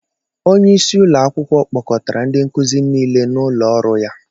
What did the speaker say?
Onye isi ụlọ akwụkwọ kpọcotara ndị nkuzi niile n'ụlọ ọrụ ya.